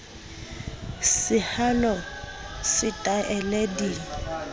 sehalo le se taele di